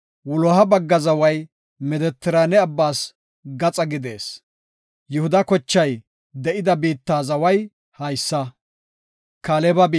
wuloha bagga zaway Medetiraane abbas gaxa gidees. Yihuda kochay de7ida biitta zaway haysa.